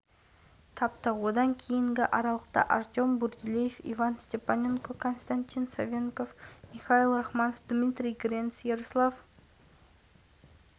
алихан асетов дубль орындаса антон сагадеев пен микхайл рахманов бір-бір шайбадан еншілеріне жазды қытай хоккейшілері